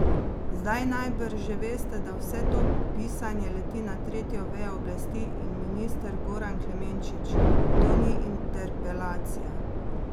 Zdaj najbrž že veste, da vse to pisanje leti na tretjo vejo oblasti, in minister Goran Klemenčič, to ni interpelacija.